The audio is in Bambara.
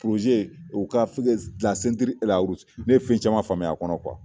u ka Ne ye fɛn caman faamuya a kɔnɔ